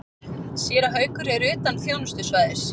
Séra Haukur er utan þjónustusvæðis.